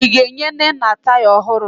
Ị ga-enye Nnenna taya ọhụrụ?